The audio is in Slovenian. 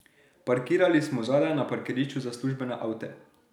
Parkirali smo zadaj, na parkirišču za službene avte.